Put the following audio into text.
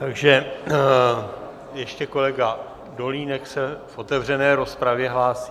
Takže ještě kolega Dolínek se v otevřené rozpravě hlásí.